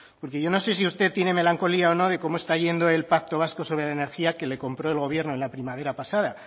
porque yo no sé si usted tiene melancolía o no de cómo está yendo el pacto vasco sobre la energía que le compró el gobierno en la primavera pasada